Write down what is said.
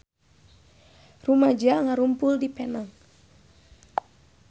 Rumaja ngarumpul di Penang